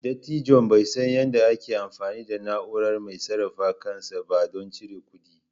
Dattijon bai san yadda ake amfani da na'ura mai sarrafa kansa ba don cire kuɗi.